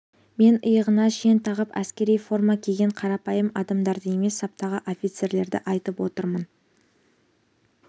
мен иығына шен тағып әскери форма киген қарапайым адамдарды емес саптағы офицерлерді айтып отырмын